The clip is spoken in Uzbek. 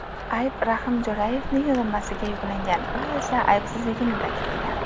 Ayb Rahim Jo‘rayevning zimmasiga yuklangan, u esa aybsizligini ta’kidlagan.